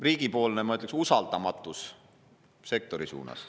Riigi, ma ütleksin, usaldamatus sektori suunas.